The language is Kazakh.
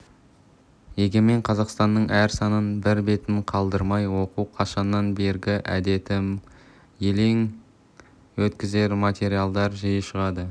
егемен қазақстанның әр санын бір бетін қалдырмай оқу қашаннан бергі әдетім елең еткізер материалдар жиі шығады